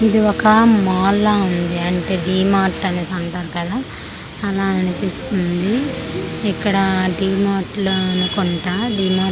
ఇది ఒక మాల్ ల ఉంది అంటే డిమార్ట్ అనేసి అంటారు కదా అలా అనిపిస్తుంది ఇక్కడ డిమార్ట్ లోను కొంట డిమర్ --